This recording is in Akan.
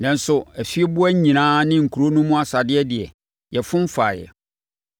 Nanso, afieboa nyinaa ne nkuro no mu asadeɛ deɛ, yɛfom faeɛ.